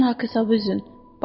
mənlə Hakevsə üzün.